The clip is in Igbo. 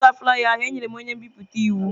Gaa bipụta flaiya ahu! Enyere m onye nbipute iwu.